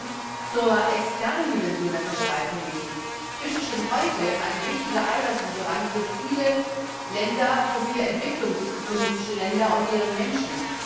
Zum anderen zur externen Dimension der Fischereipolitik Fisch ist schon heute ein wichtiger Eiweißlieferant für viele Länder Entwicklungsländer und deren Menschen.